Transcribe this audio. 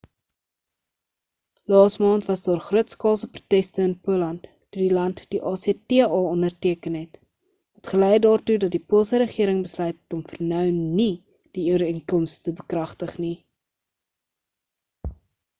laasmaand was daar grootskaalse proteste in poland toe die land die acta onderteken het wat gelei het daartoe dat die poolse regering besluit het om vir nou nie die ooreenkoms te bekragtig nie